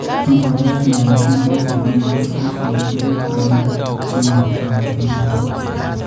Mogoryotiin eng' vitamins, eng' minerols ak eng' tuguuk alak che ng'ootaatiin.